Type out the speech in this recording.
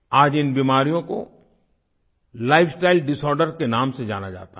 आज इन बीमारियों को लाइफस्टाइल डिसॉर्डर के नाम से जाना जाता है